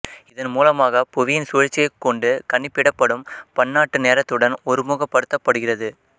இதன் மூலமாக புவியின் சுழற்சியைக் கொண்டு கணிப்பிடப்படும் பன்னாட்டு நேரத்துடன் ஒருமுகப்படுத்தப்படுகிறது